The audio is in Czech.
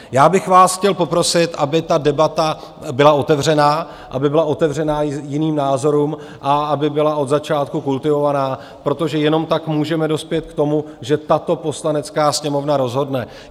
Já bych vás chtěl poprosit, aby ta debata byla otevřená, aby byla otevřená jiným názorům a aby byla od začátku kultivovaná, protože jenom tak můžeme dospět k tomu, že tato Poslanecká sněmovna rozhodne.